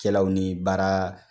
Kɛlaw ni baara